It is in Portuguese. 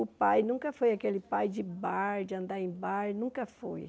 O pai nunca foi aquele pai de bar de andar em bar, nunca foi.